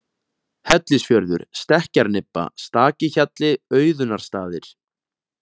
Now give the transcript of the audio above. Hellisfjörður, Stekkjarnibba, Stakihjalli, Auðunarstaðir